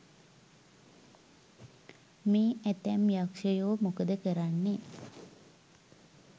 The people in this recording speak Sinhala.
මේ ඇතැම් යක්ෂයෝ මොකද කරන්නේ